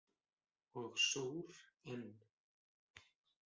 Og sór enn.